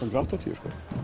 og áttatíu